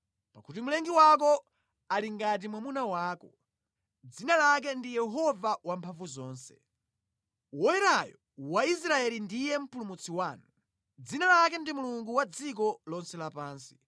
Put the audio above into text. Pakuti Mlengi wako ali ngati mwamuna wako, dzina lake ndi Yehova Wamphamvuzonse. Woyerayo wa Israeli ndiye Mpulumutsi wanu; dzina lake ndi Mulungu wa dziko lonse lapansi.